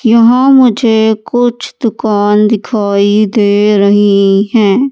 यहां मुझे कुछ दुकान दिखाई दे रही हैं।